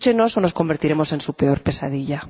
Escúchenos o nos convertiremos en su peor pesadilla.